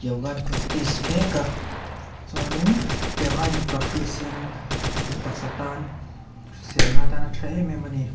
yoga an practice mek a chuanin tiang a an in practice hianin taksa tan hrisel nan a tha em em a ni.